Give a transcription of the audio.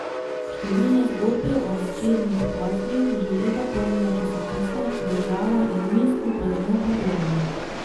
Številne zgodbe o nečednih poslih že leta polnijo časopise, država in mi skupaj z njo pa tonemo.